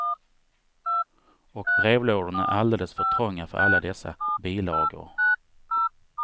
Och brevlådorna är alldeles för trånga för alla dessa bilagor.